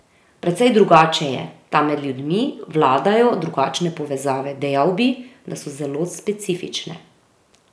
Precej drugače je, tam med ljudmi vladajo drugačne povezave, dejal bi, da so zelo specifične.